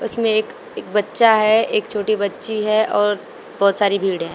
इसमें एक बच्चा है और एक बच्ची है और बहुत सारी भिड़े है।